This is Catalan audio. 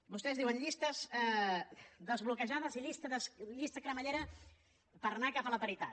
vostès diuen llistes desbloquejades i llista cremallera per anar cap a la paritat